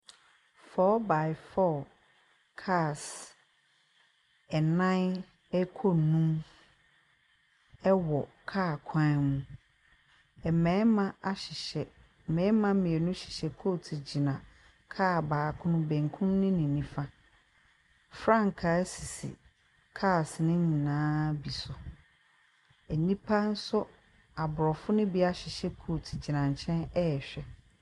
Four by four cars nan rekɔ num ɛwɔ car kwan mu. Mmarima ahyehyɛ mmarima mmienu hyehyɛ coat gyina car baako benkun ne nimfa. Frankaa sisi cars no nyinaa bi so. Nnipa nso Aborɔfo no bi ahyehyɛ coat gyina nkyɛn rehwɛ.